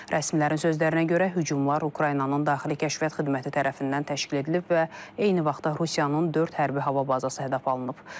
Rəsmilərin sözlərinə görə, hücumlar Ukraynanın daxili kəşfiyyat xidməti tərəfindən təşkil edilib və eyni vaxtda Rusiyanın dörd hərbi hava bazası hədəf alınıb.